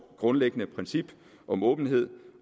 grundlæggende princip om åbenhed